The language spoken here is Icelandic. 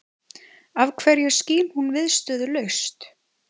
Af hverju skín hún viðstöðulaust?